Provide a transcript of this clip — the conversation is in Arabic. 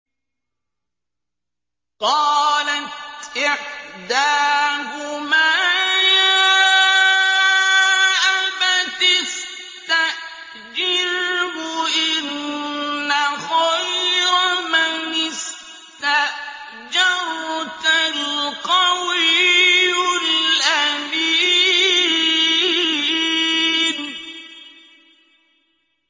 قَالَتْ إِحْدَاهُمَا يَا أَبَتِ اسْتَأْجِرْهُ ۖ إِنَّ خَيْرَ مَنِ اسْتَأْجَرْتَ الْقَوِيُّ الْأَمِينُ